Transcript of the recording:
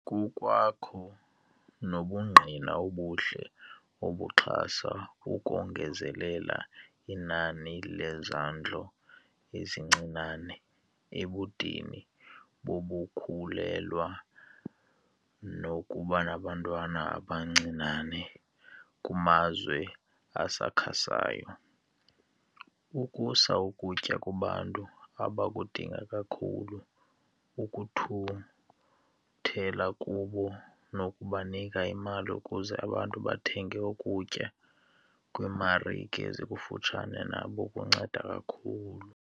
Kukwakho nobungqina obuhle obuxhasa ukongezelela inani lezondlo ezincinane ebudeni bokukhulelwa nakubantwana abancinane kumazwe asakhasayo. Ukusa ukutya kubantu abakudinga kakhulu ukukuthuthela kubo nokubanika imali ukuze abantu bathenge ukutya kwimarike ezikufutshane nabo kunceda kakhulu.